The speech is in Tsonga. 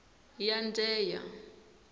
yandheya